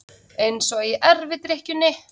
Eins og í erfidrykkjunni.